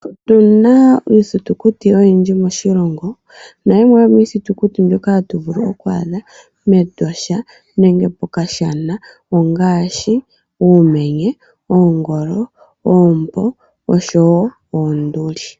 Otuna iithitukuti oyindji moshilongo, nayimwe yomiithitukuti mbyoka hatu vulu oku adha mEtosha nenge kokashana ongaashi uumenye, oongolo, oompo oshowo oonduli.